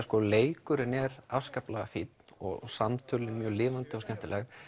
leikurinn er afskaplega fínn og samtölin mjög lifandi og skemmtileg